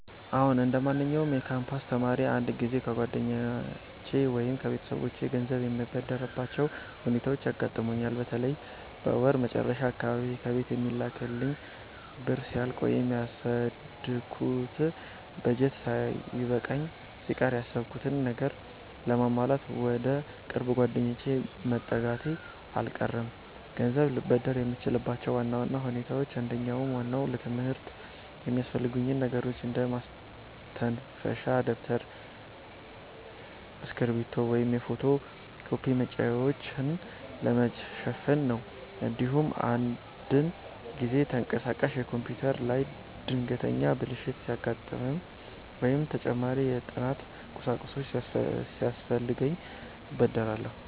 አዎ፣ እንደማንኛውም የካምፓስ ተማሪ አንዳንድ ጊዜ ከጓደኞቼ ወይም ከቤተሰቦቼ ገንዘብ የምበደርባቸው ሁኔታዎች ያጋጥሙኛል። በተለይ በወር መጨረሻ አካባቢ ከቤት የሚላክልኝ ብር ሲያልቅ ወይም ያቀድኩት በጀት ሳይበቃኝ ሲቀር፣ ያሰብኩትን ነገር ለማሟላት ወደ ቅርብ ጓደኞቼ መጠጋቴ አልቀረም። ገንዘብ ልበደር የምችልባቸው ዋና ዋና ሁኔታዎች አንደኛውና ዋናው ለትምህርት የሚያስፈልጉኝን ነገሮች እንደ ማስተንፈሻ ደብተር፣ እስክሪብቶ ወይም የፎቶ ኮፒ ወጪዎችን ለመሸፈን ነው። እንዲሁም አንዳንድ ጊዜ ተንቀሳቃሽ ኮምፒውተሬ ላይ ድንገተኛ ብልሽት ሲያጋጥም ወይም ተጨማሪ የጥናት ቁሳቁስ ሲያስፈልገኝ እበደራለሁ።